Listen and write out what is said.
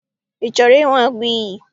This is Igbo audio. Ị chọrọ ịhụ agụiyi?